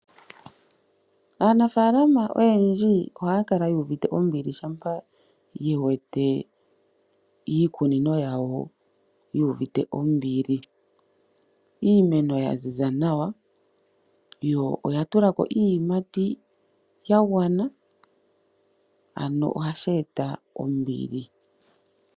Aanafalama oyendji ohaya kala yu uvite ombili, shampa yewete iikunino yawo yu uvite ombili. Iimeno yaziza nawa, yo oyatulako iiyimati yagwana, ano ohashi eta ombili.